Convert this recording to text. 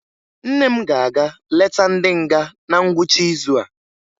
Nne m ga-aga leta ndị nga na ngwụcha izu a